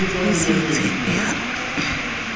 ho se itshepe ha a